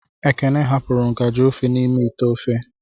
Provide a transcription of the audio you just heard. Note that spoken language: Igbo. Ekene hapụrụ ngaji ofe n'ime ite ofe.